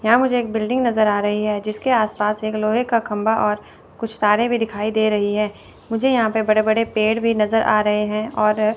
यहां मुझे एक बिल्डिंग नज़र आ रही है जिसके आसपास एक लोहे का खंबा और कुछ तारे भी दिखाई दे रही है मुझे यहां पे बड़े-बड़े पेड़ भी नज़र आ रहे हैं और --